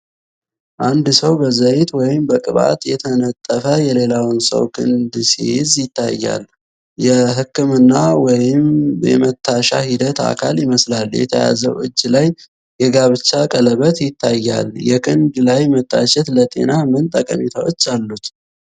አንድ ሰው በዘይት ወይም በቅባት የተነጠፈ የሌላውን ሰው ክንድ ሲይዝ ይታያል። የህክምና ወይም የመታሻ ሂደት አካል ይመስላል። የተያዘው እጅ ላይ የጋብቻ ቀለበት ይታያል። የክንድ ላይ መታሸት ለጤና ምን ጠቀሜታዎች አሉት?